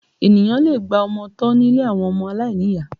Ènìyàn lè gba ọmọ tọ́ nílé àwọn ọmọ aláìníyàá